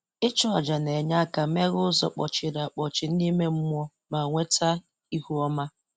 Ịchụ ajà na-enye aka ajà na-enye aka meghee ụzọ kpọchiri akpọchi n'ime mmụọ ma weta ihu ọma.